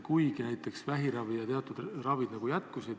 Kuigi näiteks vähiravi ja teatud haiguste ravi jätkus.